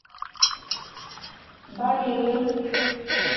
балеем